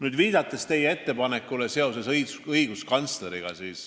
Te viitasite õiguskantslerile.